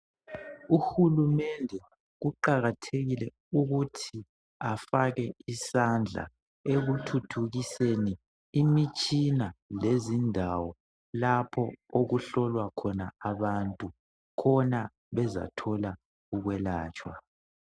Uhulumende kuqakathekile ukuthi afake isandla ekuthuthukiseni imitshina lezindawo lapho okuhlolwa khona abantu khona bezathola ukwelatshwa.